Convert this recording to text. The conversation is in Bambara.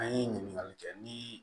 An ye ɲininkali kɛ ni